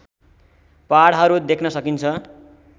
पहाडहरू देख्न सकिन्छ